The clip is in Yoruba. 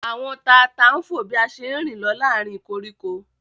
Àwọn tata ń fò bí a ṣe ń rìn lọ láàárín koríko